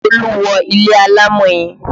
Olú wọ ilé alámọ̀ yẹn